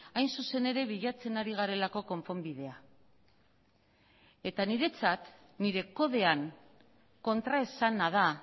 hain zuzen ere bilatzen ari garelako konponbidea eta niretzat nire kodean kontraesana da